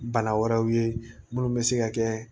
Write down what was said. Bana wɛrɛw ye minnu bɛ se ka kɛ